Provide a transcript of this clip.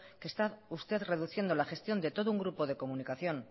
que está usted reduciendo la gestión de todo un grupo de comunicación